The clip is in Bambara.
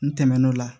N tɛmɛn'o la